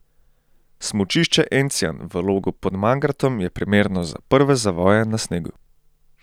Smučišče Encijan v Logu pod Mangartom je primerno za prve zavoje na snegu.